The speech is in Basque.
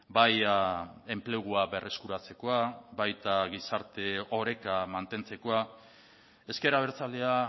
bai enplegua berreskuratzekoa baita gizarte oreka mantentzekoa ezker abertzalea